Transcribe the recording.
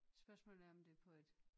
Spørgsmålet er om det er på et